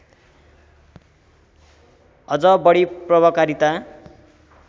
अझ बढी प्रभावकारिता